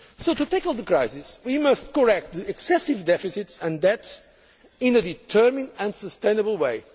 To tackle the crisis, we must correct the excessive deficits and debts in a determined and sustainable